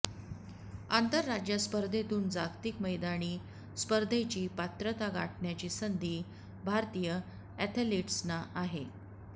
आंतरराज्य स्पर्धेतून जागतिक मैदानी स्पर्धेची पात्रता गाठण्याची संधी भारतीय ऍथलिट्सना आहे